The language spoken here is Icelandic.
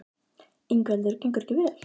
Ingveldur: Gengur ekki vel?